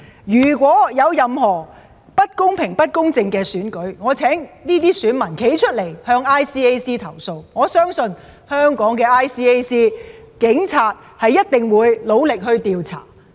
如果有任何不公平、不公正的選舉，我請這些選民站出來向 ICAC 投訴，我相信 ICAC 或警方一定會努力調查。